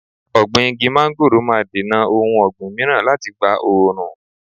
Ọ̀gbìn igi mángóròò máa dènà ohun ọ̀gbìn mìíràn láti gba oòrùn.